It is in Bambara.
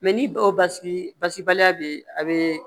ni dɔw basigi basi baliya bɛ yen a bɛ